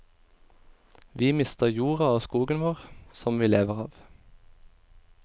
Vi mister jorda og skogen vår, som vi lever av.